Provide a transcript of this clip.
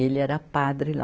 Ele era padre lá.